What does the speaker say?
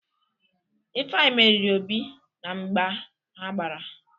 Ifeanyị meriri Obi na mgba ha gbara.